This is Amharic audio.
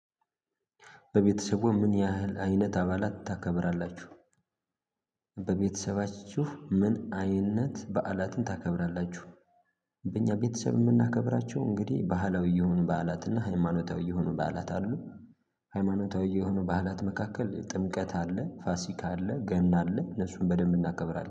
በቤተሰቡ ምን ያህል አይነት አባላት ታከብራላችሁ? በቤተሰባችሁ ምን አይነት በዓላትን ታከብራላችሁ? በእኛ ቤተሰብ የምናከብራቸው እንግዲህ ባህላዊ የሆኑ በዓላትና ሃይማኖታዊ የሆኑ በዓላት አሉ። ሃይማኖታዊ የሆኑ በዓላት መካከል ጥምቀት አለ ፋሲካ አለ ገምታ አለ እነሱን በደንብ እናከብራለን